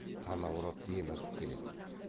танаурап демігіп келеді